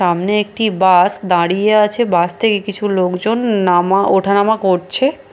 সামনে একটি বাস দাঁড়িয়ে আছে বাস থেকে কিছু লোকজন নামা ওঠা নামা করছে --